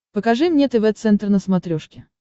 покажи мне тв центр на смотрешке